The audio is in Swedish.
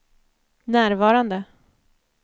närvarande